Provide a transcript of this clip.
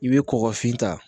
I bɛ kɔkɔfin ta